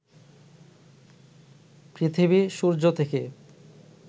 পৃথিবী সূর্য থেকে